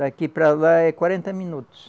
Daqui para lá é quarenta minutos.